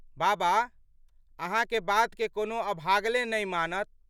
बाबा! अहाँके बात के कोनो अभागले नहि मानत।